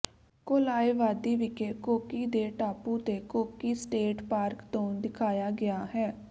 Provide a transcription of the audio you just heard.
Kalalau ਵਾਦੀ ਜਿਵੇਂ ਕੋਕੀ ਦੇ ਟਾਪੂ ਤੇ ਕੋਕੀ ਸਟੇਟ ਪਾਰਕ ਤੋਂ ਦਿਖਾਇਆ ਗਿਆ ਹੈ